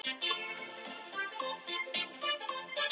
Á þá einu ósk að allt sé yfirstaðið.